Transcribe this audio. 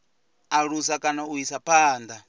alusa kana u isa phanda